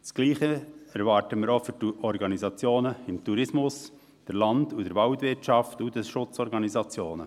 Dasselbe erwarten wir für die Organisationen des Tourismus, der Land- und der Waldwirtschaft und der Schutzorganisationen.